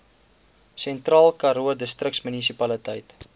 sentraalkaroo distriksmunisipaliteit